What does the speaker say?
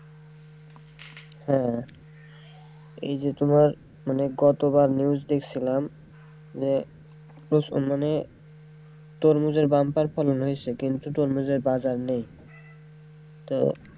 হ্যাঁ এইযে তোমার মানে গতকাল news দেখছিলাম যে মানে, তরমুজের bumper ফলন হয়েছে কিন্তু তরমুজের বাজার নেই তো,